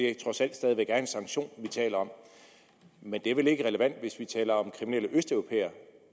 det trods alt stadig væk er en sanktion vi taler om men det er vel ikke relevant hvis vi taler om kriminelle østeuropæere